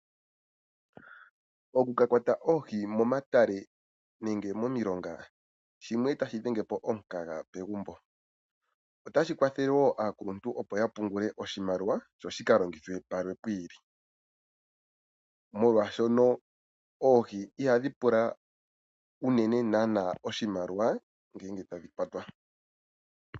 Okukakwata oohi momatale nenge momiilonga shimwe tashi dhenge po omukaga pemagumbo, otashi kwathelle wo aakuluntu opo yapungule oshimaliwa sho shika longithwe pamwe piili, molwashoka oohi ihadhi pula unene nana oshimaliwa ngele tadhi kwatwa.